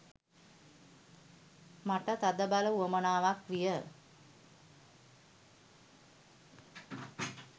මට තදබල උවමනාවක් විය.